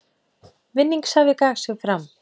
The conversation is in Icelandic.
Vinningshafi gaf sig fram